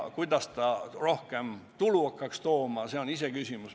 Kuidas see rohkem tulu hakkaks tooma, on iseküsimus.